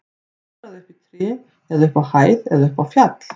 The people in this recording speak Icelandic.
Klifraðu upp í tré eða upp á hæð eða upp á fjall.